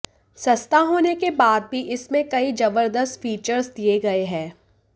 सस्ता होने के बाद भी इसमें कई जबरदस्त फीचर्स दिए गए हैं